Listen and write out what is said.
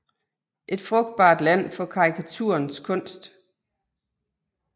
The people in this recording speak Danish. Et frugtbart land for karikaturens kunst